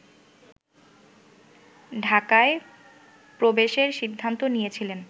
ঢাকায় প্রবেশের সিদ্ধান্ত নিয়েছিলেন